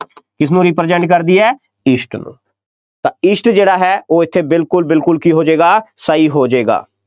ਕਿਸਨੂੰ represent ਕਰਦੀ ਹੈ east ਨੂੰ, ਤਾਂ east ਜਿਹੜਾ ਹੈ, ਉਹ ਇੱਥੇ ਬਿਲਕੁੱਲ ਬਿਲਕੁੱਲ ਕੀ ਹੋ ਜਾਏਗਾ, ਸਹੀ ਜਾਏਗਾ,